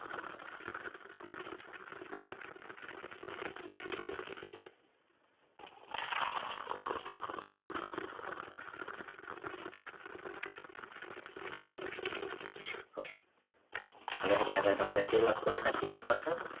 હવે તમારે જે લખવું હોય એ લખી શકો છો